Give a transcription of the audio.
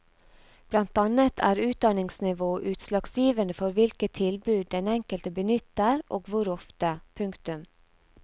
Blant annet er utdanningsnivå utslagsgivende for hvilke tilbud den enkelte benytter og hvor ofte. punktum